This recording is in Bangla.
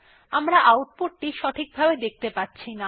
আমরা আউটপুট সঠিকভাবে দেখতে পাচ্ছিনা